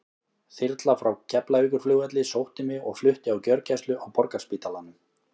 Þyrla frá Keflavíkurflugvelli sótti mig og flutti á gjörgæslu á Borgarspítalanum.